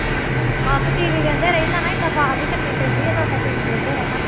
ਹਾਂ ਤੇ TV ਵਹਿੰਦੇ ਰਹੀਦਾ ਨਾ ਏਦਾਂ ਆਵਾਜ਼ ਹੀ ਕਰਨੀ ਪੈਂਦੀ ਹੈ ਤੇ ਓਦਾਂ TV ਵਹਿੰਦੇ ਰਹਿਣਾ